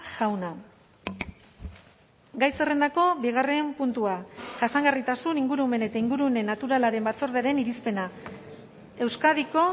jauna gai zerrendako bigarren puntua jasangarritasun ingurumen eta ingurune naturalaren batzordearen irizpena euskadiko